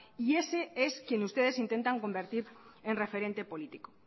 y ese es quienes ustedes intentan convertir en referente político